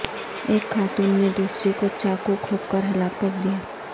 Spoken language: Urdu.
ایک خاتون نے دوسری کو چاقو گھونپ کر ہلاک کردیا